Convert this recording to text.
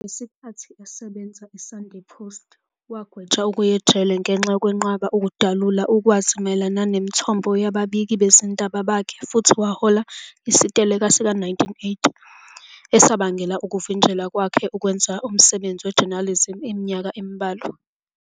Ngesikhathi esebenza e-"Sunday Post", wagwetshwa ukuya ejele ngenxa yokwenqaba ukudalula ulwazi mayelana nemithombo yababiki bezindaba bakhe futhi wahola isiteleka sika-1980 esabangela ukuvinjelwa kwakhe ukwenza umsebenzi we-journalism iminyaka embalwa.